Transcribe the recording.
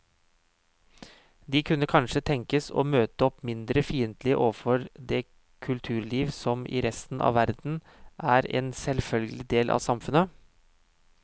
De kunne kanskje tenkes å møte opp mindre fiendtlige overfor det kulturliv som i resten av verden er en selvfølgelig del av samfunnet.